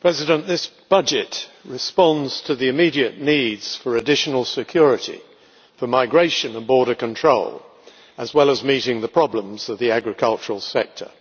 Mr President, this budget responds to the immediate needs for additional security, migration and border control, as well as meeting the problems of the agricultural sector.